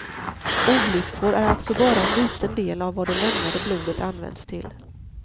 Olyckor är alltså bara en liten del av vad det lämnade blodet används till.